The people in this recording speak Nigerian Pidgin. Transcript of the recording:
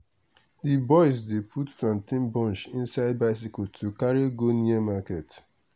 d boys dey put plantain bunch inside bicycle to carry go near market.